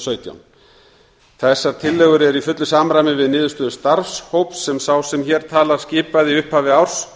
sautján þessar tillögur eru í fullu samræmi við niðurstöður starfshóps sem sá sem hér talar skipaði í upphafi árs